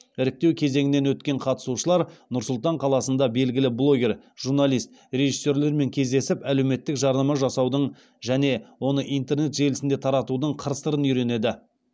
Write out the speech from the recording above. іріктеу кезеңінен өткен қатысушылар нұр сұлтан қаласында белгілі блогер журналист режиссерлармен кездесіп әлеуметтік жарнама жасаудың және оны интернет желісінде таратудың қыр сырын үйренеді